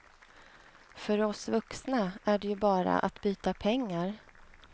För oss vuxna är det ju bara att byta pengar.